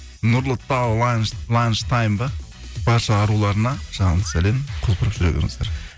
нұрлытау ланштайм ба барша аруларына жалынды сәлем құлпырып жүре беріңіздер